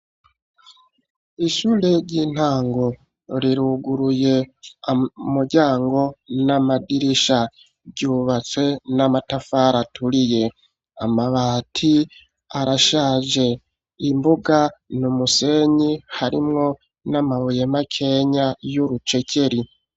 Ishure ry'intango riruguruye amuryango n'amadirisha ryubatse n'amatafara aturiye amabati arashaje imbuga ni umusenyi harimwo n'amabuye makenya y'urucekeri.